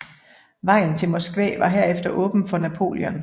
Vejen til Moskva var herefter åben for Napoleon